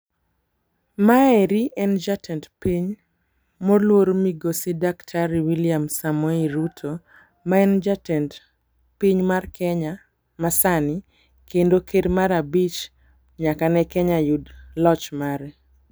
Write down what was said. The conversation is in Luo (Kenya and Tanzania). ma eri en jatend piny moluor migosi daktari william samoei Ruto ma en jatend piny mar kenya masani kendo ker mar abich nyaka ne kenya yud loch mare.